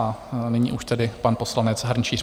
A nyní už tedy pan poslanec Hrnčíř.